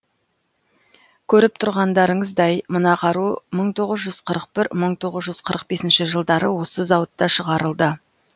көріп тұрғандарыңыздай мына қару мың тоғыз жүз қырық бір мың тоғыз жүз қырық бесінші жылдары осы зауытта шығарылды